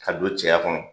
Ka don cɛya kɔnɔ